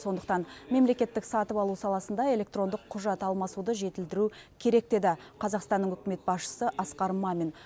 сондықтан мемлекеттік сатып алу саласында электрондық құжат алмасуды жетілдіру керек деді қазақстанның үкімет басшысы асқар мамин